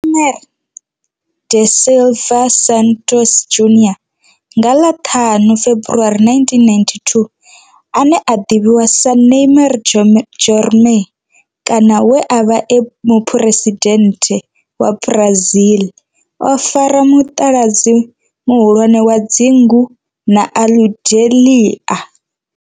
Neymar da Silva Santos Junior, nga ḽa 5 February 1992, ane a ḓivhiwa sa Ne'ymar' Jeromme kana we a vha e muphuresidennde wa Brazil o fara mutaladzi muhulwane wa dzingu na Aludalelia.